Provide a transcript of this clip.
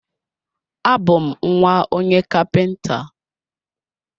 A bú m nwa onye kapinta